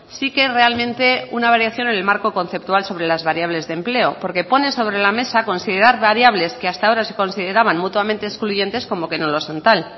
sí que realmente una variación en el marco conceptual sobre las variables de empleo porque pone sobre la mesa considerar variables que hasta ahora se consideraban mutuamente excluyentes como que no lo son tal